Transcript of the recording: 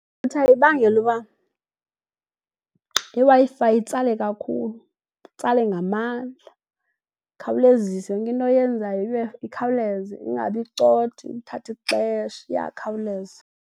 Irutha ibangela uba iWi-Fi itsale kakhulu, itsale ngamandla ikhawulezise, yonke into oyenzayo ibe ikhawuleze ingabi icotha, ithathe ixesha, iyakhawuleza.